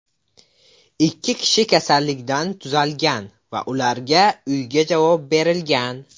Ikki kishi kasallikdan tuzalgan va ularga uyga javob berilgan.